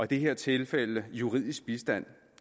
det her tilfælde juridisk bistand